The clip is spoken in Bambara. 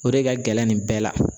O de ka gɛlɛn nin bɛɛ la